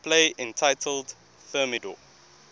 play entitled thermidor